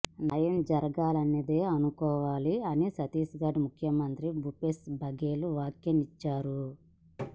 న్యాయం జరిగిందనే అనుకోవాలి అని ఛత్తీస్ఘడ్ ముఖ్యమంత్రి భూపేశ్ బగెల్ వ్యాఖ్యానించారు